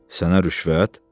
Sənə rüşvət?